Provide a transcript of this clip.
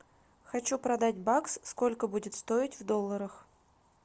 хочу продать бакс сколько будет стоить в долларах